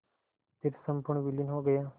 फिर संपूर्ण विलीन हो गया